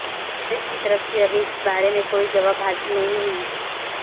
کانگریس کی طرف سے ابھی اس بارے میں کوئی جواب حاصل نہیں ہوئی